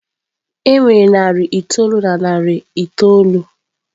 E nwere narị itoolu na narị itoolu.